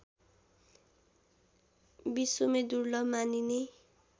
विश्वमै दुर्लभ मानिने